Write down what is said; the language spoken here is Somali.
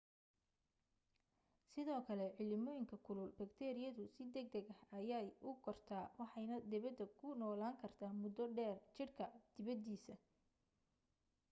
sidoo kale cimilooyinka kulul bakteeriyadu si degdeg ah ayay u kortaa waxaanay debedda ku noolaan kartaa muddo dheer jidhka dibaddiisa